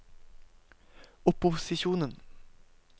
opposisjonen